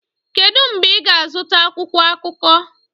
Kedu mgbe ị ga-azụta akwụkwọ akụkọ?